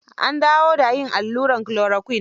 Ab dawo da yin allurat chloroquine.